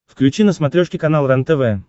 включи на смотрешке канал рентв